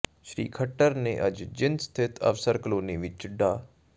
ਸ੍ਰੀ ਖੱਟਰ ਨੇ ਅੱਜ ਜੀਂਦ ਸਥਿਤ ਅਫ਼ਸਰ ਕਲੋਨੀ ਵਿੱਚ ਡਾ